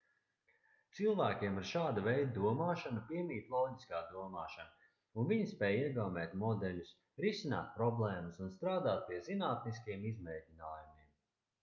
cilvēkiem ar šāda veida domāšanu piemīt loģiskā domāšana un viņi spēj iegaumēt modeļus risināt problēmas un strādāt pie zinātniskiem izmēģinājumiem